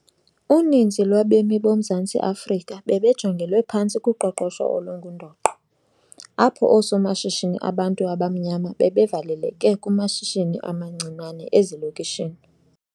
Uninzi lwabemi boMzantsi Afrika bebejongelwe phantsi kuqoqosho olungundoqo, apho oosomashishini abantu abamnyama bebevaleleke kumashishini amancinane ezilokishini.